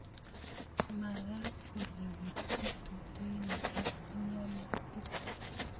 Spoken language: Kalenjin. Magat ko lowetchi tutuinik ak mianutik